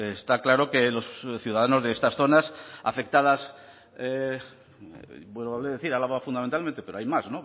está claro que los ciudadanos de estas zonas afectadas vuelvo a decir álava fundamentalmente pero hay más